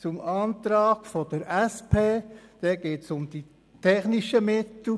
Beim Antrag der SP geht es um die technischen Mittel.